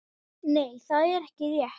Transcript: Nei það er ekki rétt.